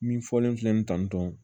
Min fɔlen filɛ nin tan tɔn